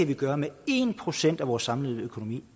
kan gøre med en procent af vores samlede økonomi